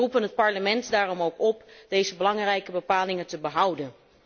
We roepen het Parlement dan ook op deze belangrijke bepalingen te behouden.